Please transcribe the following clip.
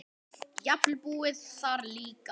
Jafnvel búið þar líka.